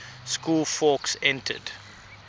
school fawkes entered